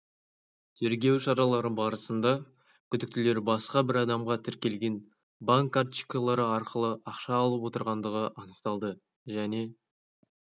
тергеу шаралары барысында күдіктілер басқа бір адамға тіркелген банк карточкалары арқылы ақша алып отырғандығы анықталды және